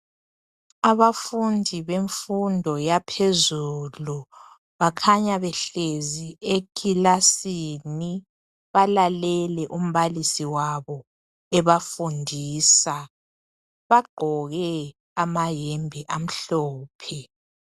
Abafundi bemfundo yaphezulu bakhanya behlezi ekilasini bakhanya belalele umbalisi wabo ebafundisa. Bagqoke amayembe amhlophe.